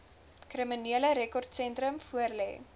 kriminele rekordsentrum voorlê